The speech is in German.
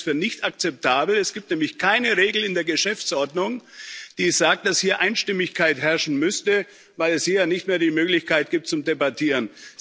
Ich halte es für nicht akzeptabel. Es gibt nämlich keine Regel in der Geschäftsordnung, die sagt, dass hier Einstimmigkeit herrschen müsste, weil es hier ja nicht mehr die Möglichkeit gibt zu debattieren.